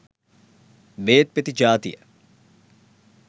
බේත් පෙති ජාතිය.